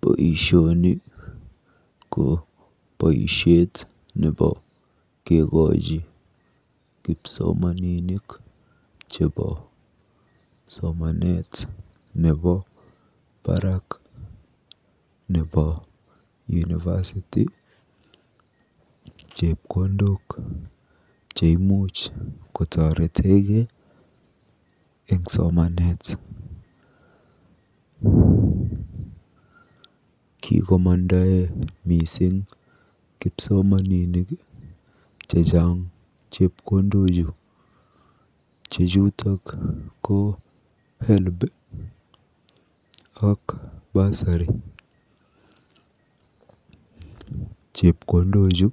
Boisioni ko boisiet nebo kekochi kipsomaninik chebo somanet nebo barak nebo University chepkondok cheimuch kotoretekee eng somanet. Kikomandae mising kipsomaninik chechang chepkondochu che chotok ko Helb ak Bursary. Chepkondochu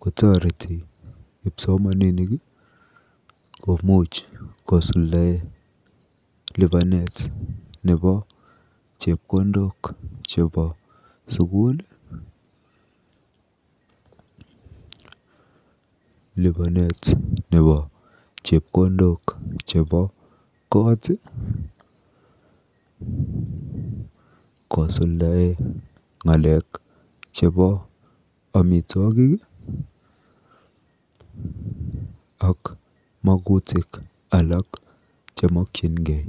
kotoreti kipsomaninik kosuldae lipanet nebo chepkondok chebo sukul, lipanet nebo chepkondok chebo koot, kosuldae ng'alek chebo amitwogik ak magutik alak chemokyingei.